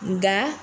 Nga